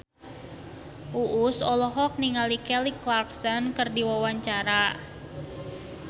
Uus olohok ningali Kelly Clarkson keur diwawancara